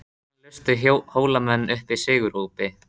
Og enn lustu Hólamenn upp sigurópi.